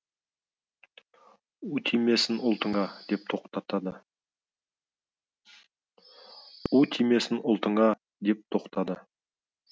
у тимесін ұлтыңат деп тоқтады